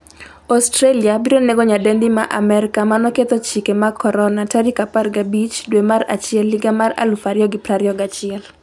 Australia biro nego nyadendi ma Amerka manoketho chike mag Corona' 15 dwe mar achiel 2021